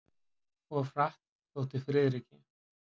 Of hratt, þótti Friðriki.